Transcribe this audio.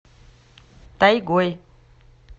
тайгой